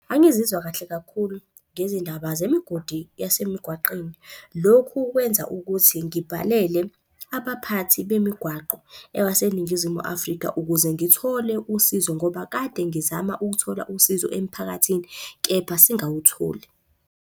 Angizizwa kahle kakhulu ngezindaba zemigodi yasemigwaqweni. Lokhu kwenza ukuthi ngibhalele abaphathi bemigwaqo yabaseNingizimu Afrika ukuze ngithole usizo, ngoba kade ngizama ukuthola usizo emiphakathini kepha singawutholi.